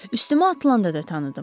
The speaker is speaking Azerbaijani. Üstümə atılanda da tanıdım.